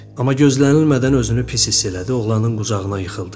Amma gözlənilmədən özünü pis hiss elədi, oğlanın qucağına yıxıldı.